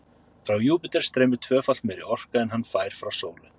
Frá Júpíter streymir tvöfalt meiri orka en hann fær frá sólu.